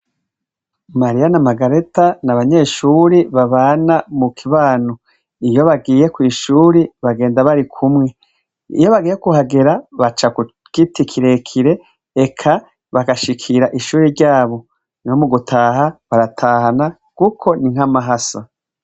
Mariya na Magareta n'abanyeshure babana mu kibano, iyo bagiye kw'ishure bagenda barikumwe, iyo bagiye kuhagera baca ku giti kirekire eka bagashikira ishure ryabo, no mugutaha baratahana kuko n'inka mahasa.